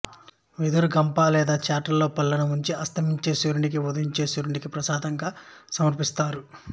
వెదురు గంప లేదా చాటలో పళ్లను ఉంచి అస్తమించే సూర్యునికి ఉదయించే సూర్యునికి ప్రసాదంగా సమర్పిస్తారు